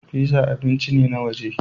Pizza abinci ne na waje